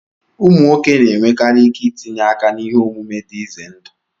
Ụmụ nwoke na-enwekarị ike itinye aka n'ihe omume dị ize ndụ.